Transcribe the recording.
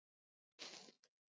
Hvað skyldu þau heita?